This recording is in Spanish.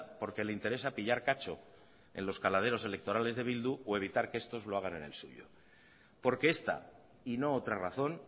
porque le interesa pillar cacho en los caladeros electorales de bildu o evitar que estos lo hagan en el suyo porque esta y no otra razón